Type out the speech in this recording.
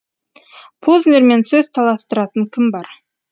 познермен сөз таластыратын кім бар